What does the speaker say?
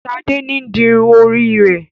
Shade ǹ di irun ori rẹ.